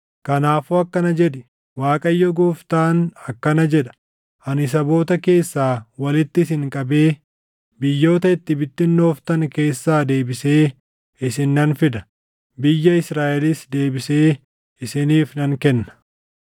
“Kanaafuu akkana jedhi: ‘ Waaqayyo Gooftaan akkana jedha: Ani saboota keessaa walitti isin qabee biyyoota itti bittinnooftan keessaa deebisee isin nan fida; biyya Israaʼelis deebisee isiniif nan kenna.’